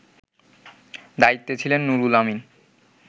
দায়িত্বে ছিলেন নুরুল আমিন